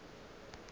be e le ngwana wa